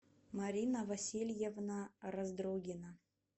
марина васильевна раздрогина